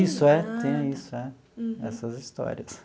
Isso, é. Tem isso, é, essas histórias.